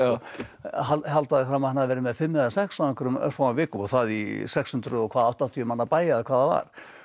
halda því fram að hann hafi verið með fimm eða sex á einhverjum örfáum vikum og það í sex hundruð og áttatíu manna bæ eða hvað það var